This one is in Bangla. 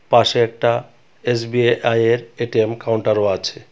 পাশে একটা এস বি এ আই এর এ_টি_এম কাউন্টারও আছে.